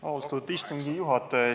Austatud istungi juhataja!